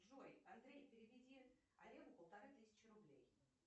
джой андрей переведи олегу полторы тысячи рублей